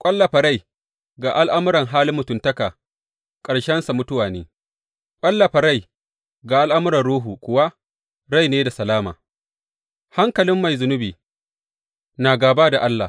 Ƙwallafa rai ga al’amuran halin mutuntaka ƙarshensa mutuwa ne, ƙwallafa rai ga al’amuran Ruhu kuwa rai ne da salama; hankalin mai zunubi na gāba da Allah.